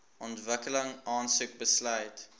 ontwikkeling aansoek besluit